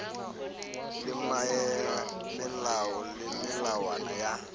le melao le melawana ya